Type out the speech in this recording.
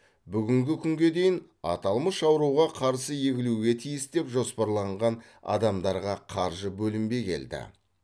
бүгінгі күнге дейін аталмыш ауруға қарсы егілуге тиіс деп жоспарланған адамдарға қаржы бөлінбей келді